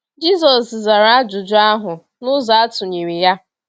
Jisọs zara ajụjụ ahụ n’ụzọ atụnyere ya.